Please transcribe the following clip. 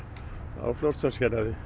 á Fljótsdalshéraði